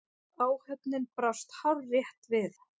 Áhöfnin brást hárrétt við.